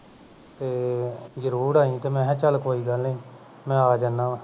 ਤੇ ਜ਼ਰੂਰ ਆਈ ਮੈਂ ਕਿਹਾ ਕੋਈ ਗਲ ਨਹੀਂ ਮੈਂ ਆ ਜਾਨਾ ਵਾਂ